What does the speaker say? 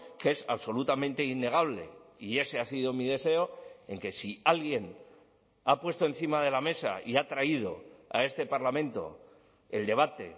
que es absolutamente innegable y ese ha sido mi deseo en que si alguien ha puesto encima de la mesa y ha traído a este parlamento el debate